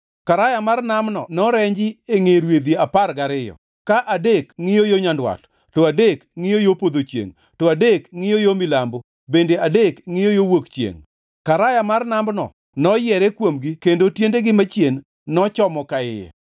Karaya mar Namno norenji e ngʼe rwedhi apar gariyo, ka adek ngʼiyo yo nyandwat, to adek ngʼiyo yo podho chiengʼ, to adek ngʼiyo yo milambo, bende adek ngʼiyo yo wuok chiengʼ. Karaya mar Namno noyiere kuomgi kendo tiendegi machien nochomo ka iye.